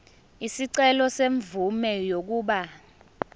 isicelo semvume yokuba